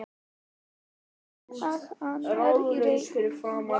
Vinkonur hennar í Reykjavík mátti telja á fingrum annarrar handar.